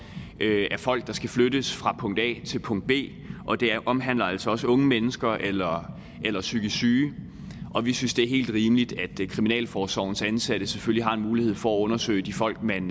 af folk der skal flyttes fra punkt a til punkt b og det omhandler altså også unge mennesker eller eller psykisk syge og vi synes det er helt rimeligt at kriminalforsorgens ansatte selvfølgelig har en mulighed for at undersøge de folk man